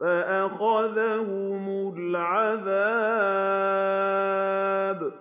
فَأَخَذَهُمُ الْعَذَابُ ۗ